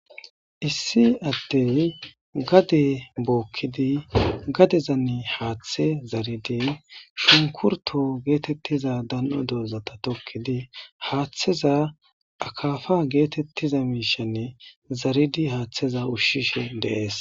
issi addey gade bookkidi gadezanne haaththe zaridi shunkurto geetettiza dan7o dozata tokkidi haaththeza akafa geetettiza miishanne zaridi haaththeza ushshishe dees